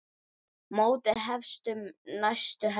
Mótið hefst um næstu helgi.